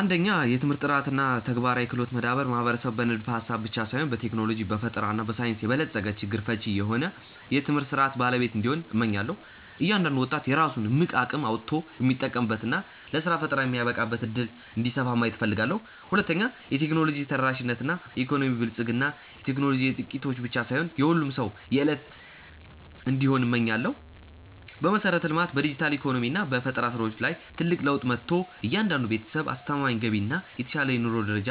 1. የትምህርት ጥራት እና የተግባራዊ ክህሎት መዳበር ማህበረሰብ በንድፈ-ሐሳብ ብቻ ሳይሆን በቴክኖሎጂ፣ በፈጠራ እና በሳይንስ የበለጸገ፣ ችግር ፈቺ የሆነ የትምህርት ሥርዓት ባለቤት እንዲሆን፣ እመኛለሁ። እያንዳንዱ ወጣት የራሱን እምቅ አቅም አውጥቶ የሚጠቀምበት እና ለሥራ ፈጠራ የሚበቃበት ዕድል እንዲሰፋ ማየት እፈልጋለሁ። 2. የቴክኖሎጂ ተደራሽነት እና የኢኮኖሚ ብልጽግና ቴክኖሎጂ የጥቂቶች ብቻ ሳይሆን የሁሉም ሰው የዕለት እንዲሆን እመኛለሁ። በመሠረተ-ልማት፣ በዲጂታል ኢኮኖሚ እና በፈጠራ ሥራዎች ላይ ትልቅ ለውጥ መጥቶ፣ እያንዳንዱ ቤተሰብ አስተማማኝ ገቢ እና የተሻለ የኑሮ ደረጃ